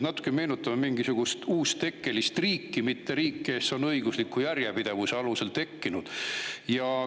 Natuke meenutame mingisugust uustekkelist riiki, mitte riiki, kes on õigusliku järjepidevuse alusel.